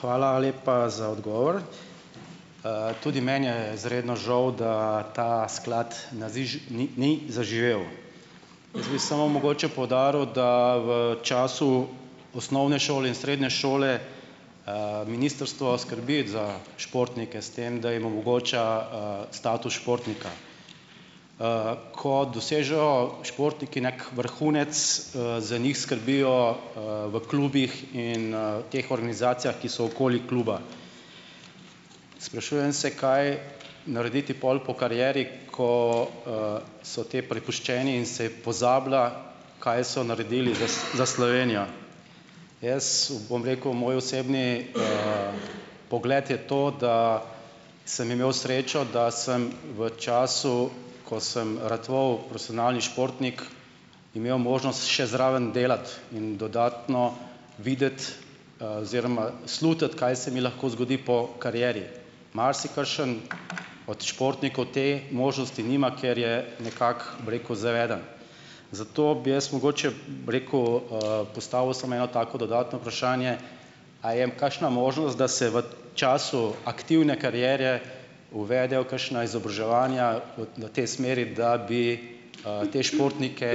Hvala lepa za odgovor. Tudi meni je izredno žal, da ta sklad naziž ni ni zaživel. Jaz bi samo mogoče poudaril, da v času osnovne šole in srednje šole, ministrstvo skrbi za športnike s tem, da jim omogoča, status športnika. Ko dosežejo športniki neki vrhunec, za njih skrbijo, v klubih in, teh organizacijah, ki so okoli kluba. Sprašujem se, kaj narediti pol po karieri, ko, so te prepuščeni in se pozablja, kaj so naredili za za Slovenijo. Jaz bom rekel. Moj osebni, pogled je to, da sem imel srečo, da sem v času, ko sem ratoval profesionalni športnik, imel možnost še zraven delati in dodatno videti, oziroma slutiti, kaj se mi lahko zgodi po karieri. Marsikakšen od športnikov te možnosti nima, ker je nekako, bi rekel, zaveden. Zato bi jaz mogoče, bi rekel, postavil samo eno tako dodatno vprašanje, a je kakšna možnost, da se v času aktivne kariere uvedejo kakšna izobraževanja v tej smeri, da bi, te športnike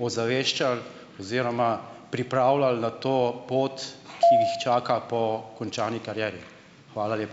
ozaveščali oziroma pripravljali na to pot, ki jih čaka po končani karieri? Hvala lepa.